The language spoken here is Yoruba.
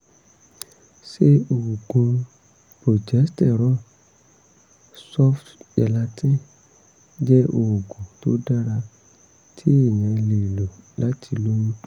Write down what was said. ṣé oògùn progesterone soft gelatin jẹ́ oògùn tó dára tí èèyàn lè lò láti lóyún?